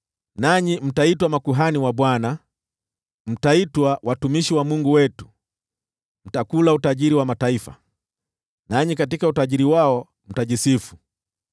Nanyi mtaitwa makuhani wa Bwana , mtaitwa watumishi wa Mungu wetu. Mtakula utajiri wa mataifa, nanyi katika utajiri wao mtajisifu.